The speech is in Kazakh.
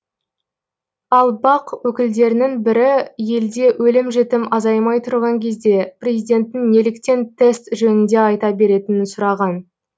ал бақ өкілдерінің бірі елде өлім жітім азаймай тұрған кезде президенттің неліктен тест жөнінде айта беретінін сұраған